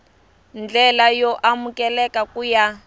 ndlela yo amukeleka ku ya